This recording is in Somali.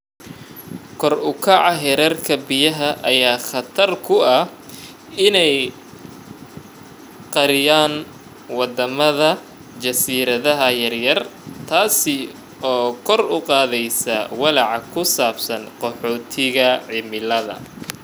Kor u kaca heerarka badaha ayaa khatar ku ah in ay qariyaan wadamada jasiiradaha yar yar, taas oo kor u qaadaysa walaaca ku saabsan qaxootiga cimilada.